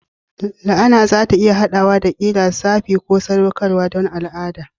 La'ana za ta iya haɗawa da ƙira, safi ko saɗaukarwa don al'ada.